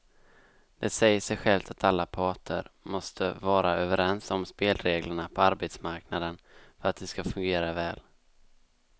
Det säger sig självt att alla parter måste vara överens om spelreglerna på arbetsmarknaden för att de ska fungera väl.